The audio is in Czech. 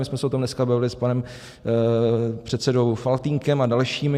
My jsme se o tom dneska bavili s panem předsedou Faltýnkem a dalšími.